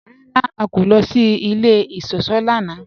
Rárá, à kò lọ sí ilẹ̀ ìṣọ̀ṣọ́ lánà.